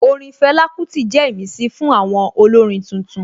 Orin Fela Kuti jẹ́ ìmísí fún àwọn olórin tuntun